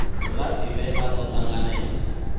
la divhea kana lo tanganedzwaho